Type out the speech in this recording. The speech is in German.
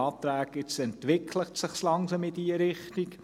Jetzt entwickelt es sich langsam in diese Richtung.